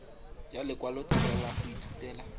ya lekwalotetla la go ithutela